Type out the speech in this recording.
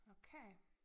Okay